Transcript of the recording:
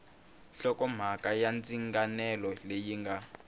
hlokomhaka ya ndzinganelo leyi nga